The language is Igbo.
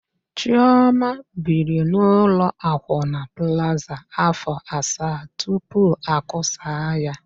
Chiọma biri n'ụlọ akwụna Plaza áfọ̀ asaa tupu akụsaa ya.